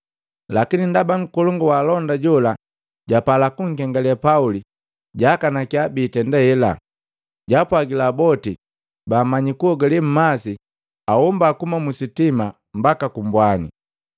Lakini ndaba nkolongu wa alonda jola japala kunkengale Pauli, jaakanakia biitenda hela. Jaapwagila boti baamanya kusibi mmasi ahomba kuhuma mu sitima mbaka ku mbwani,